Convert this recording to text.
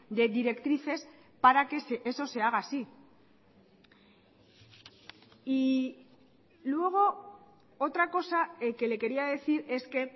de directrices para que eso se haga así y luego otra cosa que le quería decir es que